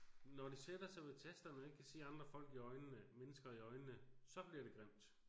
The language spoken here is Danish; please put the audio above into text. Når de sætter sig ved tasterne og ikke kan se andre folk i øjnene mennesker i øjnene så bliver det grimt